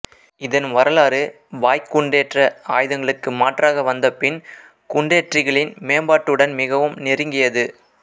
இதன் வரலாறு வாய்குண்டேற்ற ஆயுதங்களுக்கு மாற்றாக வந்த பின்குண்டேற்றிகளின் மேம்பாட்டுடன் மிகவும் நெருங்கியது